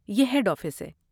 یہ head office ہے۔